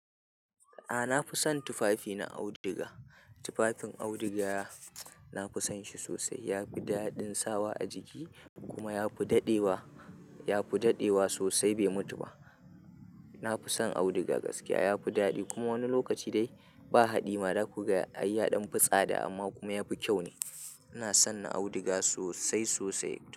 A'a na fi son tufafi na auduga. Tufafin auduga, na fi son shi sosai. Ya fi daɗin sawa a jiki kuma ya fi daɗewa, ya fi daɗewa sosai bai mutu ba. Na fi son auduga gaskiya. Ya fi daɗi kuma wani lokaci dai ba haɗi ma za ku ga ai ya ɗan fi tsada amma kuma ya fi kyau ne. Na sanna auduga sosai sosai.